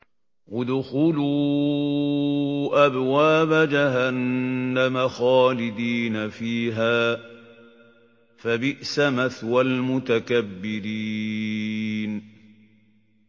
ادْخُلُوا أَبْوَابَ جَهَنَّمَ خَالِدِينَ فِيهَا ۖ فَبِئْسَ مَثْوَى الْمُتَكَبِّرِينَ